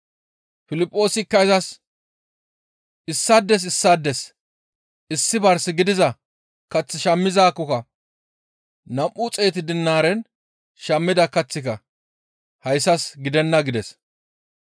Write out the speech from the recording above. Piliphoosikka izas, «Issaades issaades issi bars gidiza kath shammizaakkoka nam7u xeetu dinaaren shammida kaththika hayssas gidenna» gides.